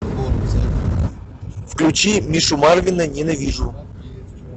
включи мишу марвина ненавижу